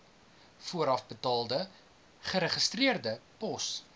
voorafbetaalde geregistreerde pos